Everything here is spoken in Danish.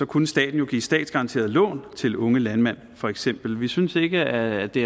kunne staten jo give statsgaranterede lån til unge landmænd for eksempel vi synes ikke at det